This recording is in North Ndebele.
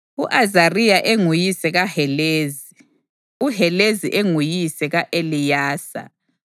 u-Azariya enguyise kaHelezi, uHelezi enguyise ka-Eleyasa,